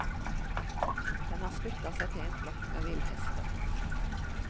Den har sluttet seg til en flokk med villhester.